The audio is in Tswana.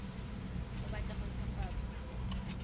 o batla go nt hwafatsa